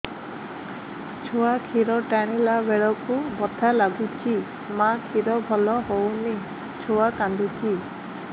ଛୁଆ ଖିର ଟାଣିଲା ବେଳକୁ ବଥା ଲାଗୁଚି ମା ଖିର ଭଲ ହଉନି ଛୁଆ କାନ୍ଦୁଚି